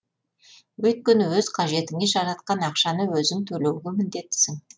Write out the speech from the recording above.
өйткені өз қажетіңе жаратқан ақшаны өзің төлеуге міндеттісің